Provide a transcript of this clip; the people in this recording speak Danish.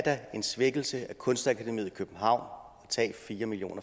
er en svækkelse af kunstakademiet i københavn at tage fire million